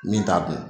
Min t'a dun